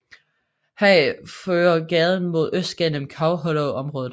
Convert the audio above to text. Herfra fører gaden mod øst gennem Cow Hollow området